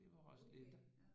Det var også